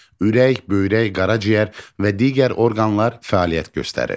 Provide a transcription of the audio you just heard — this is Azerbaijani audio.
Ürək, böyrək, qaraciyər və digər orqanlar fəaliyyət göstərir.